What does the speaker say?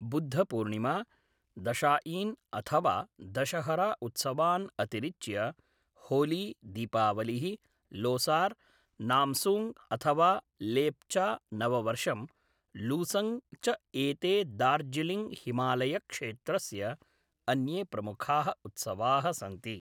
बुद्धपूर्णिमा, दशाईन् अथवा दशहरा उत्सवान् अतिरिच्य होली, दीपावलिः, लोसार्, नामसूङ्ग् अथवा लेप्चा नववर्षं, लूसूङ्ग् च एते दार्जिलिङ्ग् हिमालयक्षेत्रस्य अन्ये प्रमुखाः उत्सवाः सन्ति।